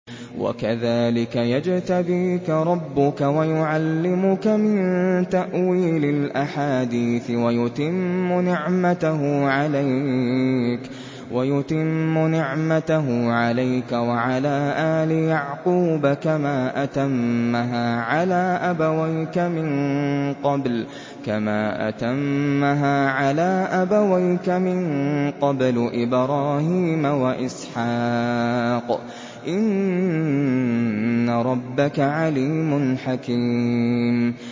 وَكَذَٰلِكَ يَجْتَبِيكَ رَبُّكَ وَيُعَلِّمُكَ مِن تَأْوِيلِ الْأَحَادِيثِ وَيُتِمُّ نِعْمَتَهُ عَلَيْكَ وَعَلَىٰ آلِ يَعْقُوبَ كَمَا أَتَمَّهَا عَلَىٰ أَبَوَيْكَ مِن قَبْلُ إِبْرَاهِيمَ وَإِسْحَاقَ ۚ إِنَّ رَبَّكَ عَلِيمٌ حَكِيمٌ